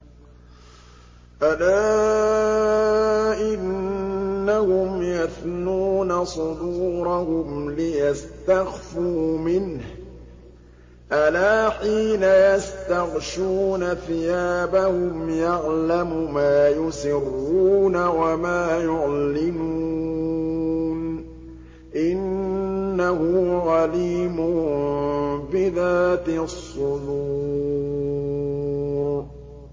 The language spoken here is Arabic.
أَلَا إِنَّهُمْ يَثْنُونَ صُدُورَهُمْ لِيَسْتَخْفُوا مِنْهُ ۚ أَلَا حِينَ يَسْتَغْشُونَ ثِيَابَهُمْ يَعْلَمُ مَا يُسِرُّونَ وَمَا يُعْلِنُونَ ۚ إِنَّهُ عَلِيمٌ بِذَاتِ الصُّدُورِ